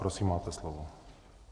Prosím, máte slovo.